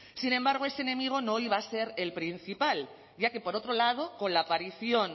sin embargo ese enemigo no iba a ser el principal ya que por otro lado con la aparición